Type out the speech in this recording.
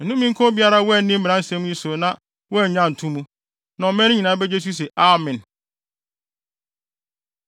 “Nnome nka obiara a wanni mmara nsɛm yi so na wannye anto mu.” Na ɔman no nyinaa begye so se, “Amen!”